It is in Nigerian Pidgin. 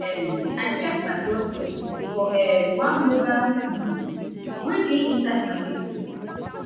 um i check my blood pressure for um one mobile clinic wey dey inside market square.